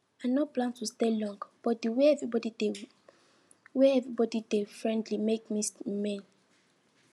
i no plan to stay long but the way everybody dey way everybody dey friendly make me remain